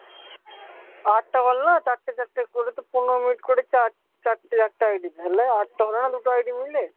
আটটা কল নয়? চারটে চারটে করে তো পনেরো মিনিট করে চার চারটে আটটা ID তে হলে, আটটা হলো না দুটো ID মিলে?